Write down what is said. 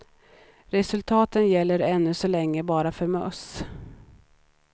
Resultaten gäller ännu så länge bara för möss.